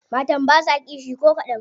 Matan basa kishi ko kadan.